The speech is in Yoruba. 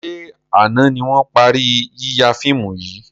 Ṣé àna ni wọn parí yíya fíìmù yìí?